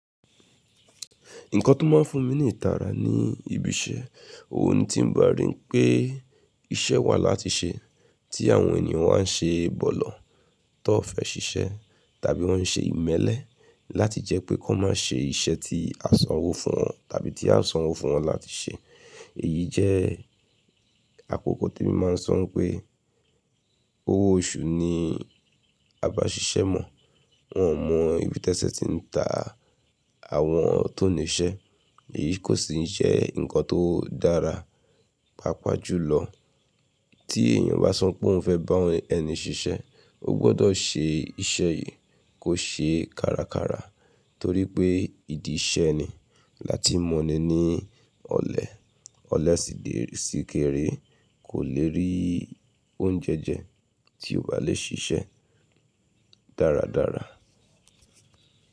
Nǹkan tó máa ń fún mi ní ìtara ni ibi iṣẹ́. Ohun ni tí ń ba rí pé iṣẹ́ wà láti ṣe, tí àwọn ènìyàn wá ń ṣe bọ̀lọ̀, tó fẹ́ ṣiṣẹ́, tàbí wọ́n ṣe ìmẹ́lẹ́ láti jẹ́ pé wọn má ṣe iṣẹ́ tí a sanwó fún wọn tàbí tí a sanwó fún wọn láti ṣe. Èyí jẹ́ àkókò tí mi máa ń sọ pé owó oṣù ni a bá ṣiṣẹ́ mọ̀. Wọn ò mọ̀ ibi tẹ́sẹ̀ ti ń ta àwọn tó ní iṣẹ́. Èyí kò sì ń sẹ́ nǹkan tó dára. Papajùlọ tí èèyàn bá sọ pé òun fẹ́ bá ẹni ṣiṣẹ́, ó gbọ́dọ̀ ṣe iṣẹ́ yìí kó ṣe kárakára torí pé ìdí iṣẹ́ eni láti mọ̀ni ní ọlẹ. Ọlẹ sì dé sí kẹrẹ, kò lè rí oúnjẹ jẹ tí o kò bá lè ṣiṣẹ́ dáradára.